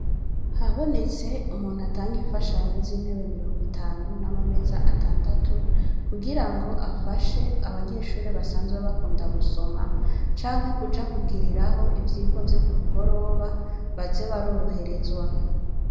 Habonetse umuntu atanga infashanyo z'intebe mirongo itanu nama meza atandatu kugirango afashe abanyeshuri basanzwe bakunda gusoma canke kuja kugiriraho ivyirwa ku mugoroba baze baroroherezwa.